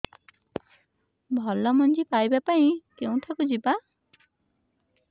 ଭଲ ମଞ୍ଜି ପାଇବା ପାଇଁ କେଉଁଠାକୁ ଯିବା